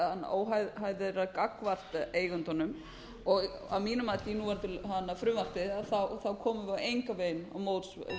óhæfi þeirra gagnvart eigendunum og að mínu mati í núverandi frumvarpi komum við engan veginn til móts við þær